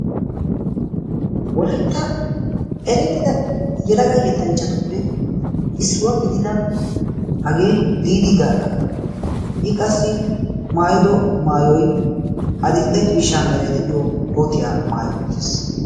wolaitta erettida yelaga yettanchchatuppe issuwaa gidida hagee diidi gaagga i qassi maayido maayoi adil77e ciishaa merai de7iyo kootiyaa maayo uttiis